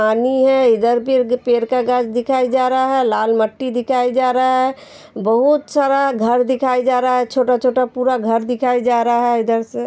पानी है इधर फिर पेड़ का घास दिखाई जा रहा है। लाल मिट्टी दिखाई जा रहा है। बहोत सारा घर दिखाई जा रहा है छोटा-छोटा पूरा घर दिखाई जा रहा है। इधर से --